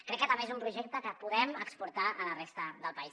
crec que també és un projecte que podem exportar a la resta del país